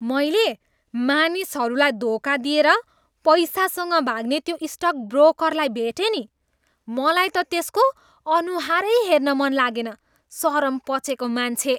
मैले मानिसहरूलाई धोका दिएर पैसासँग भाग्ने त्यो स्टक ब्रोकरलाई भेटेँ नि। मलाई त त्यसको अनुहारै हेर्न मन लागेन। सरम पचेको मान्छे!